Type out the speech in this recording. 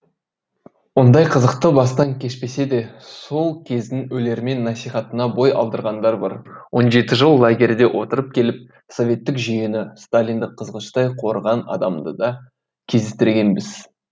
ондай қызықты бастан кешпесе де сол кездің өлермен насихатына бой алдырғандар бар он жеті жыл лагерде отырып келіп советтік жүйені сталинді қызғыштай қорыған адамды да кездестіргенбіз